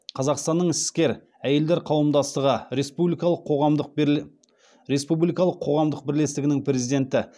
қазақстанның іскер әйелдер қауымдастығы республикалық қоғамдық бірлестігінің президенті